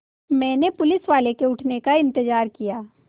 मैंने पुलिसवाले के उठने का इन्तज़ार किया